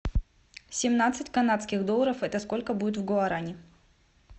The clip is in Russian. семнадцать канадских долларов это сколько будет в гуарани